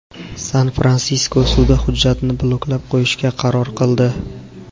San-Fransisko sudi hujjatni bloklab qo‘yishga qaror qildi.